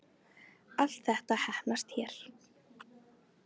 Allt þetta heppnast hér